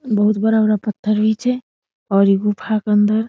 बहुत बड़ा-बड़ा पत्थर भी छै और इ गुफा के अंदर --